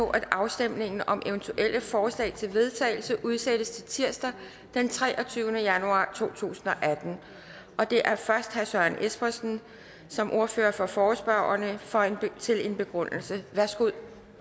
på at afstemning om eventuelle forslag til vedtagelse udsættes til tirsdag den treogtyvende januar to tusind og atten det er først herre søren espersen som ordfører for forespørgerne til en begrundelse værsgo